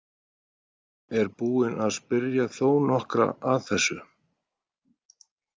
Er búin að spyrja þó nokkra að þessu.